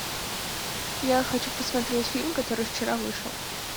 я хочу посмотреть фильм который вчера вышел